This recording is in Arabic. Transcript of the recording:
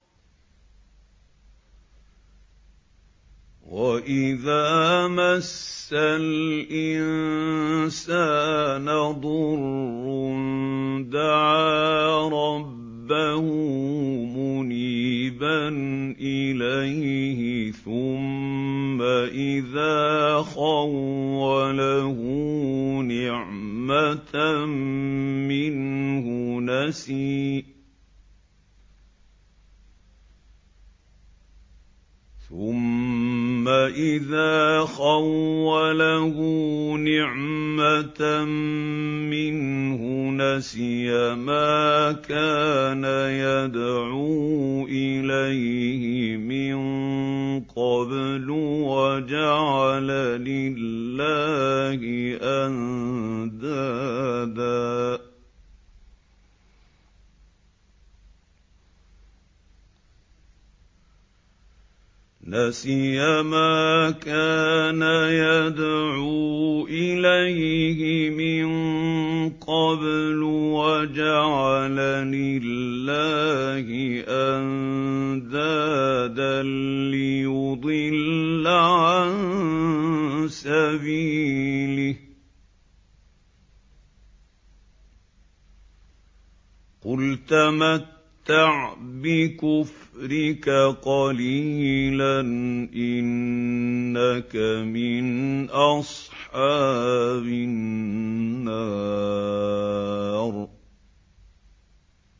۞ وَإِذَا مَسَّ الْإِنسَانَ ضُرٌّ دَعَا رَبَّهُ مُنِيبًا إِلَيْهِ ثُمَّ إِذَا خَوَّلَهُ نِعْمَةً مِّنْهُ نَسِيَ مَا كَانَ يَدْعُو إِلَيْهِ مِن قَبْلُ وَجَعَلَ لِلَّهِ أَندَادًا لِّيُضِلَّ عَن سَبِيلِهِ ۚ قُلْ تَمَتَّعْ بِكُفْرِكَ قَلِيلًا ۖ إِنَّكَ مِنْ أَصْحَابِ النَّارِ